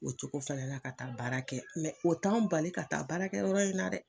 O cogo fɛnɛ la ka taa baara kɛ o t'an bali ka taa baarakɛyɔrɔ in na dɛ.